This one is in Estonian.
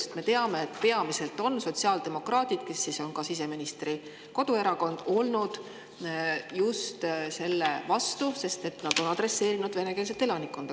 Sest me teame, et peamiselt on just sotsiaaldemokraadid, kes siseministri koduerakonda, selle vastu olnud, sest nad on adresseerinud venekeelset elanikkonda.